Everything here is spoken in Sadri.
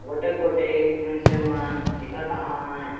गोटेक - गोटेक एक मेनसे मन दिखत अहाए।